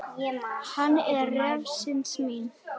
Hann er refsing mín.